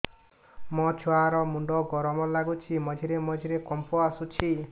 ମୋ ଛୁଆ ର ମୁଣ୍ଡ ଗରମ ଲାଗୁଚି ମଝିରେ ମଝିରେ କମ୍ପ ଆସୁଛି